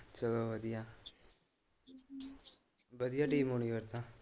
ਚਲੋ ਵਧੀਆਂ ਵਧੀਆਂ ਟੀਮ ਹੋਣੀ ਫਿਰ ਤਾ।